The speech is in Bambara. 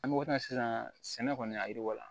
An bɛ waati min na sisan sɛnɛ kɔni a yiriwa